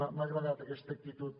m’ha agradat aquesta actitud